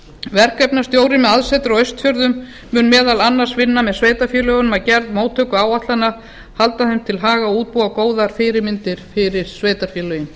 verkefnastjóri með aðsetur á austfjörðum mun meðal annars vinna með sveitarfélögunum að gerð móttökuáætlana halda þeim til haga og útbúa góðar fyrirmyndir fyrir sveitarfélögin